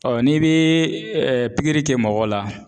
Ɔ n'i bɛ pikiri kɛ mɔgɔ la.